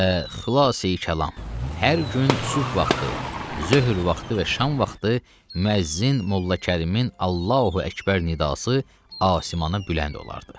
Və xülasə kəlam, hər gün sübh vaxtı, zöhr vaxtı və şam vaxtı müəzzin Molla Kərimin Allahu Əkbər nidası asimana bülənd olardı.